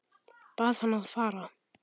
Bað hann að fara.